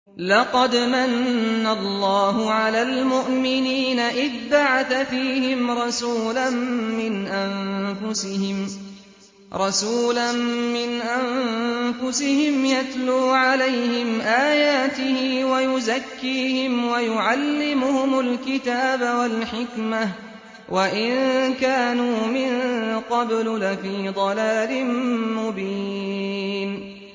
لَقَدْ مَنَّ اللَّهُ عَلَى الْمُؤْمِنِينَ إِذْ بَعَثَ فِيهِمْ رَسُولًا مِّنْ أَنفُسِهِمْ يَتْلُو عَلَيْهِمْ آيَاتِهِ وَيُزَكِّيهِمْ وَيُعَلِّمُهُمُ الْكِتَابَ وَالْحِكْمَةَ وَإِن كَانُوا مِن قَبْلُ لَفِي ضَلَالٍ مُّبِينٍ